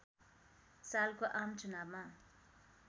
सालको आम चुनावमा